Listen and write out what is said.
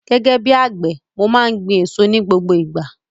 Gẹ́gẹ́ bíi àgbẹ̀, mo má n gbin èso ní gbogbo ìgbà